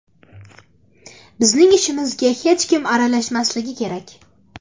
Bizning ishimizga hech kim aralashmasligi kerak.